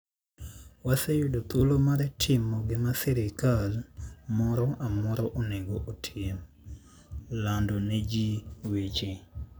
Waseyudo thuolo mar timo gima sirkal moro amora onego otim: lando ne ji weche.